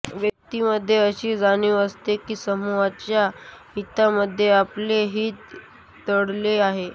व्यक्तींमध्ये अषी जाणीव असते कि समुहाच्या हितामध्ये आपले हित दडले आहे